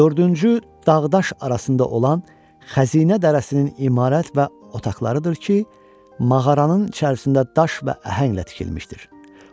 Dördüncü dağdaş arasında olan xəzinə dərəsindən imarət və otaqlarıdır ki, mağaranın içərisində daş və əhənglə tikilmişdir.